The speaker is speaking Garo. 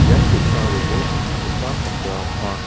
ian ge·sa robol kal·chakgipa bakra ong·a.